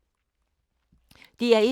DR1